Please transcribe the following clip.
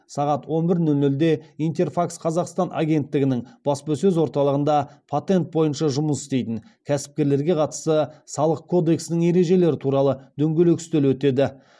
сағат он бір нөл нөлде интерфакс қазақстан агенттігінің баспасөз орталығында патент бойынша жұмыс істейтін кәсіпкерлерге қатысты салық кодексінің ережелері туралы дөңгелек үстел өтеді